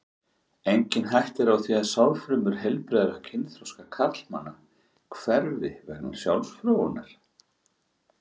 Engin hætta er á því að sáðfrumur heilbrigðra kynþroska karlmanna hverfi vegna sjálfsfróunar.